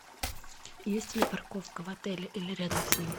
есть ли парковка в отеле или рядом с ним